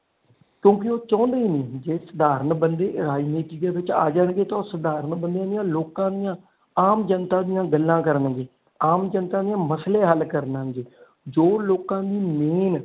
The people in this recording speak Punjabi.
ਕਿਉਂਕਿ ਉਹ ਚਾਹੁੰਦੇ ਨੀ ਜੇ ਸਾਧਾਰਨ ਬੰਦੇ ਰਾਜਨੀਤੀ ਵਿਚ ਆ ਜਾਣਗੇ ਤੇ ਉਹ ਸਾਧਾਰਨ ਬੰਦਿਆਂ ਦੇ ਲੋਕਾਂ ਦੀਆਂ ਆਮ ਜਨਤਾ ਦੀਆ ਗੱਲਾਂ ਕਰਨ ਦੇ ਆਮ ਜਨਤਾ ਦੇ ਮਸਲੇ ਹਾਲ ਕਰਨ ਦੇ ਜੋ ਲੋਕ ਦੀ ਮੇਨ।